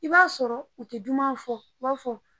I b'a sɔrɔ u tɛ duman fɔ u b'a fɔ.